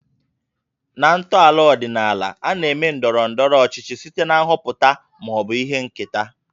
Na ntọala ọdịnaala, a na-eme ndọrọ ndọrọ ọchịchị site na nhọpụta ma ọ bụ ihe nketa